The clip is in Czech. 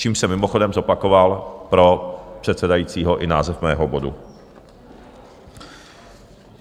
Čímž jsem mimochodem zopakoval pro předsedajícího i název mého bodu.